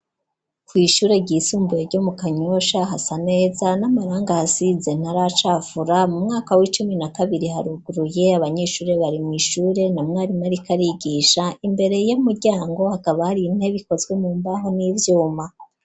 Kw'ishure ry'isumbuye ryo mu kanyosha hasa neza n'amarangi asize ntaracafura mu mwaka w'icumi na kabiri haruguruye abanyeshure bari mw'ishure na mwarimu ariko arabigisha imbere y'umuryango hakaba hari intebe ikozwe mu mbaho n'ivyuma.